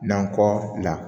Nakɔ la